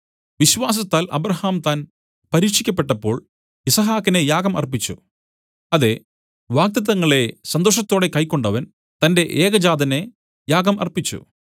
വിശ്വാസത്താൽ അബ്രാഹാം താൻ പരീക്ഷിക്കപ്പെട്ടപ്പോൾ യിസ്ഹാക്കിനെ യാഗം അർപ്പിച്ചു അതെ വാഗ്ദത്തങ്ങളെ സന്തോഷത്തോടെ കൈക്കൊണ്ടവൻ തന്റെ ഏകജാതനെ യാഗം അർപ്പിച്ചു